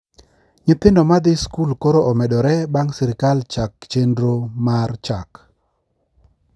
Nyithindo madhi skul koro omedore bang` sirkal chak chendro mar chak